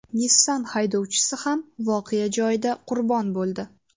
Nissan haydovchisi ham voqea joyida qurbon bo‘ldi.